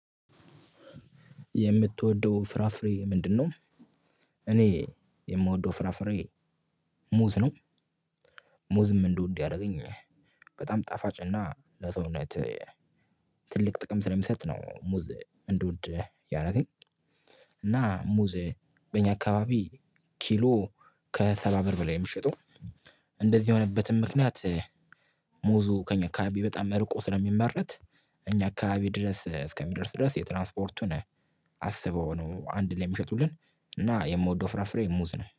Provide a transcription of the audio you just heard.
የምትወደው ፍራፍሬ ምንድነው? እኔ የምወደው ፍራፍሬ ሙዝ ነው። ሙዝም እንድወድ ያረገኝ በጣም ጣፋጭ እና ለሰውነት ትልቅ ጥቅም ስለሚሰጥ ነው። ሙዝ እንድወድ ያረገኝ። እና ሙዝ በእኛ አካባቢ ኪሎ ከሰባ ብር በላይ የምሸጠው። እንደዚህ የሆነበትም ምክንያት ሙዙ ከእኛ አካባቢ በጣም መርቆ ስለሚመረት። እኛ አካባቢ ድረስ እስከሚደርስ ድረስ የትራንስፖርቱን አስበው ነው። አንድ ላይ የሚሸጡልን እና የምወደው ፍራፍሬ ሙዝ ነው